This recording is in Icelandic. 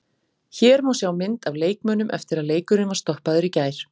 Hér má sjá mynd af leikmönnum eftir að leikurinn var stoppaður í gær.